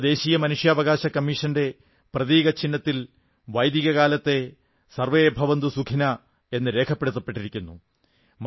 നമ്മുടെ ദേശീയ മനുഷ്യാവകാശ കമ്മീഷന്റെ പ്രതീകചിഹ്നത്തിൽ വൈദിക കാലത്തെ ആദർശവാക്യം സർവ്വേ ഭവന്തു സുഖിനഃ എന്ന് രേഖപ്പെടുത്തപ്പെട്ടിരിക്കുന്നു